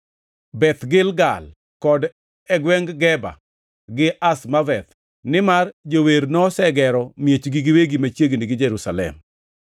Beth Gilgal, kod e gwengʼ Geba gi Azmaveth, nimar jower nosegero miechgi giwegi machiegni gi Jerusalem.